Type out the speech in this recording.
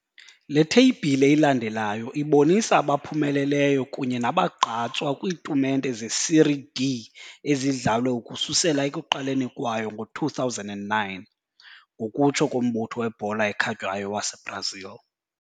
Le theyibhile ilandelayo ibonisa abaphumeleleyo kunye nabagqatswa kwiitumente zeSérie D ezidlalwe ukususela ekuqaleni kwayo ngo-2009, ngokutsho koMbutho weBhola ekhatywayo waseBrazil.